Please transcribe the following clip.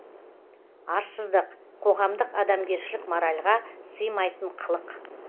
арсыздық қоғамдық адамгершілік моральға сыймайтын қылық